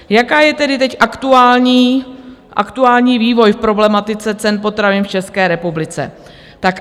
Jaký je tedy teď aktuální vývoj v problematice cen potravin v České republice?